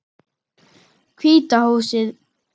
Hvíta húsið.